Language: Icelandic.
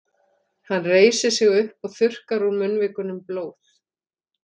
Hann reisir sig upp og þurrkar úr munnvikunum blóð.